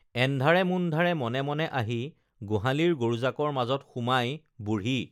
এন্ধাৰেমুন্ধাৰে মনে মনে আহি গোহালিৰ গৰুজাকৰ মাজত সোমাই বুঢ়ী